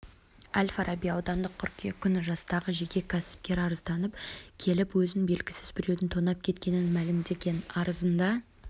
әл-фараби аудандық қыркүйек күні жастағы жеке кәсіпкер арызданып келіп өзін белгісіз біреудің тонап кеткенін мәлімдеген арызында